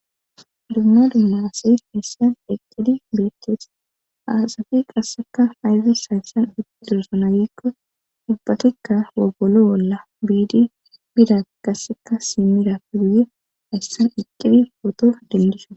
dumma dumma asi hessan eqqidi biekkees aasafi qasseka fayzi sayssan iqido sonagikko dubbatikka wogolo bolla biidi bida qasseka simirafe guye hayssan eqqidi pooto dendisoe